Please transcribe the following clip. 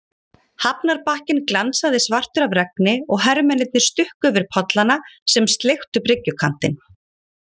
Hafnarbakkinn glansaði svartur af regni og hermennirnir stukku yfir pollana sem sleiktu bryggjukantinn.